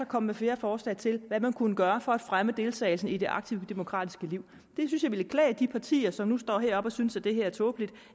komme med flere forslag til hvad man kunne gøre for at fremme deltagelsen i det aktive demokratiske liv det ville klæde de partier som nu står heroppe og synes at det her er tåbeligt